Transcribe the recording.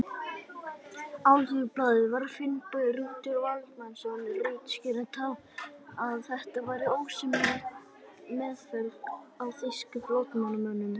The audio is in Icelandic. Alþýðublaðið, sem Finnbogi Rútur Valdimarsson ritstýrði, taldi að þetta væri ósæmileg meðferð á þýskum flóttamönnum.